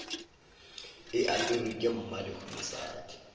e aperwe ke mmalehu mosadi